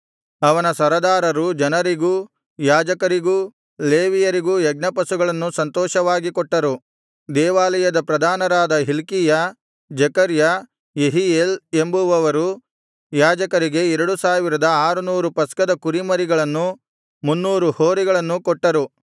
ಅವನ ಸರದಾರರು ಜನರಿಗೂ ಯಾಜಕರಿಗೂ ಲೇವಿಯರಿಗೂ ಯಜ್ಞಪಶುಗಳನ್ನು ಸಂತೋಷವಾಗಿ ಕೊಟ್ಟರು ದೇವಾಲಯದ ಪ್ರಧಾನರಾದ ಹಿಲ್ಕೀಯ ಜೆಕರ್ಯ ಯೆಹೀಯೇಲ್ ಎಂಬುವವರು ಯಾಜಕರಿಗೆ ಎರಡು ಸಾವಿರದ ಆರು ನೂರು ಪಸ್ಕದ ಕುರಿಮರಿಗಳನ್ನೂ ಮುನ್ನೂರು ಹೋರಿಗಳನ್ನೂ ಕೊಟ್ಟರು